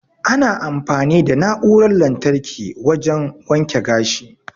Ana amfani da na'uran lantarki wajan waken gashi